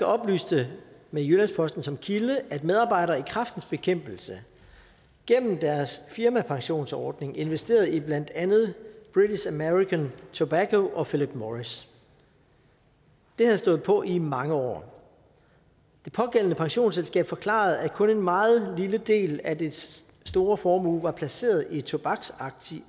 oplyste med jyllands posten som kilde at medarbejdere i kræftens bekæmpelse gennem deres firmapensionsordning investerede i blandt andet british american tobacco og philip morris det havde stået på i mange år det pågældende pensionsselskab forklarede at kun en meget lille del af dets store formue var placeret i tobaksaktier